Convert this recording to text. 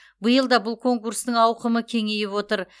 биыл да бұл конкурстың ауқымы кеңейіп отыр